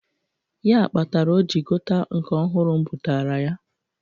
Ya kpatara o jị gota nke ọhụrụ m bụtaara ya.